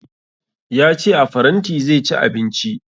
Ya ce a faranti zai ci abinci